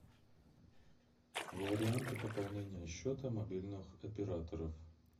варианты пополнения счета мобильных операторов